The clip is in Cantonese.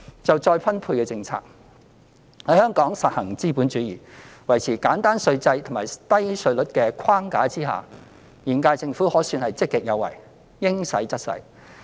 就再分配政策，香港實行資本主義，在維持簡單稅制和低稅率的框架之下，現屆政府可算是積極有為，應使則使。